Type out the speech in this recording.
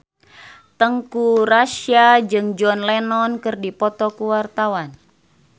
Teuku Rassya jeung John Lennon keur dipoto ku wartawan